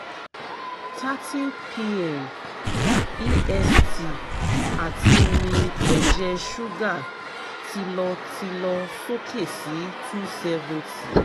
30 pm est ati mi ẹjẹ suga ti lọ ti lọ soke si 270